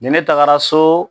Ni ne tagara so